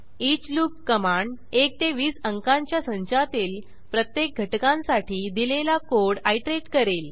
each loop command 1 ते 20 अंकांच्या संचातील प्रत्येक घटकांसाठी दिलेला कोड आयटरेट करेल